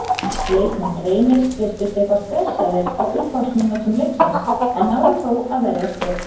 Leikmenn Reynis virtust eitthvað stressaðir á upphafsmínútum leiksins en náðu þó að verjast vel.